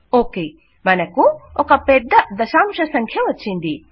okay మనకు ఒక పెద్ద దశాంశ సంఖ్య వచ్చింది